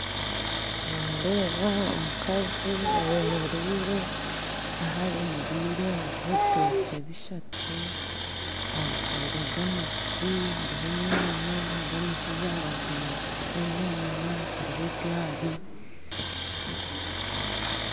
Nindeeba omukazi ayemereire ahayemereire haruho ebitokye bishatu ajwaire gomesi haruho enyaanya haruho omushaija aharubaju naguza enyaanya haruho egari .